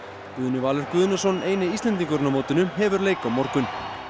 Guðni Valur Guðnason eini Íslendingurinn á mótinu hefur leik á morgun